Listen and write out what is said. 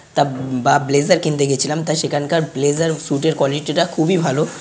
তা বা ব্লেজার কিনতে গেছিলাম। তা সেখানকার ব্লেজার সুটের কোয়ালিটি টা খুবই ভালো।